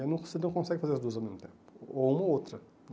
aí você não consegue fazer as duas ao mesmo tempo, ou uma ou outra.